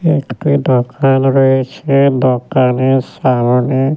একটা দোকান রয়েছে দোকানের সামনে --